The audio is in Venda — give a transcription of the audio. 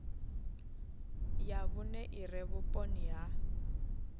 ya vhune ire vhuponi ha